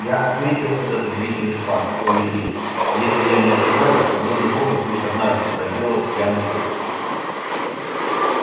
я отметил этот удивительный факт у людей если я не ошибаюсь подобный фокус лишь однажды проделал пьяный поляк